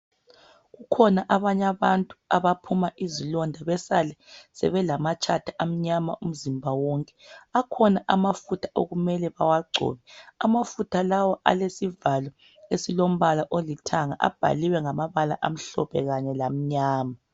kukhona abantu abaphuma izilonda besale sebelamatshata amanyama umzimba wonke akhona amafutha okumele bewachobe ama futha lawa alesivalo esilompala olithanga abhaliwe ngamabala amhlophe kanye lamnyama